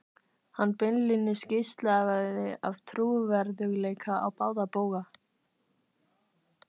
Hann beinlínis geislaði af trúverðugleika á báða bóga.